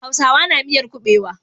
Hausawa na miyar kubewa.